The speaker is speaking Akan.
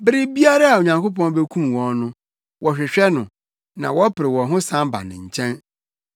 Bere biara a Onyankopɔn bekum wɔn no, wɔhwehwɛ no na wɔpere wɔn ho san ba ne nkyɛn.